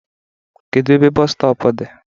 Kedu ebe bọọsu stọpu dị?